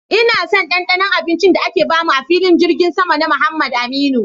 Ina son dandanon abincin da aka bamu a'filin jirgin sama na Muhammad Aminu.